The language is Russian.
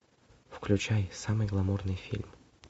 включай самый гламурный фильм